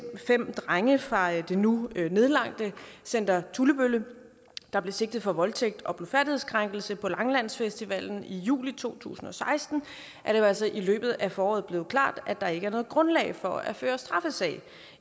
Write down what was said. fem drenge fra det nu nedlagte center tullebølle der blev sigtet for voldtægt og blufærdighedskrænkelse på langelandsfestivalen i juli to tusind og seksten er det altså i løbet af foråret blevet klart at der ikke er noget grundlag for at føre straffesag